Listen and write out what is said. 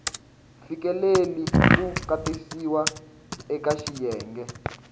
fikeleli ku katsiwa eka xiyenge